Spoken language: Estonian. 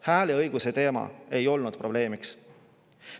Hääleõiguse teema ei olnud probleemiks.